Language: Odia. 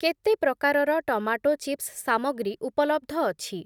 କେତେ ପ୍ରକାରର ଟମାଟୋ ଚିପ୍ସ୍‌ ସାମଗ୍ରୀ ଉପଲବ୍ଧ ଅଛି?